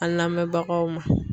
An lamɛnbagaw ma